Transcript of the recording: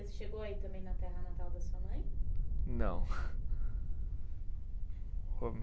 Você chegou a ir também na terra natal da sua mãe? Não